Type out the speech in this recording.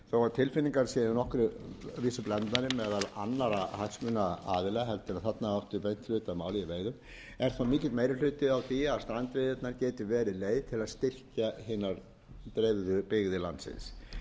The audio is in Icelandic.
tilfinningar séu nokkuð blendnar meðal annarra hagsmunaaðila heldur en þarna áttu hlut að máli í veiðum er þó mikill meiri hluti á því að strandveiðarnar geti verið leið til að styrkja hinar dreifðu byggðir landsins það